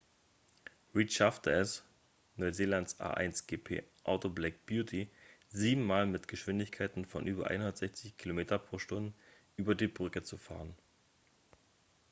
reid schaffte es neuseelands a1gp-auto black beauty sieben mal mit geschwindigkeiten von über 160 km/h über die brücke zu fahren